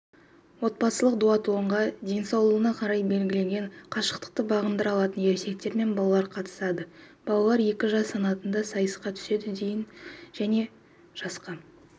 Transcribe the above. отбасылық дуатлонға денсаулығына қарай белгіленген қашықтықты бағындыра алатын ересектер мен балалар қатысады балалар екі жас санатында сайысқа түседі дейін және жасқа